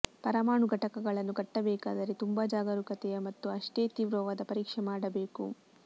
ಪರಮಾಣು ಘಟಕಗಳನ್ನು ಕಟ್ಟಬೇಕಾದರೆ ತುಂಬಾ ಜಾಗರೂಕತೆಯ ಮತ್ತು ಅಷ್ಟೇ ತೀವ್ರವಾದ ಪರೀಕ್ಷೆ ಮಾಡಬೇಕು